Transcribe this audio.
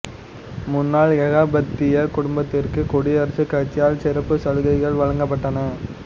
முன்னாள் ஏகாதிபத்திய குடும்பத்திற்கு குடியரசுக் கட்சியால் சிறப்பு சலுகைகள் வழங்கப்பட்டன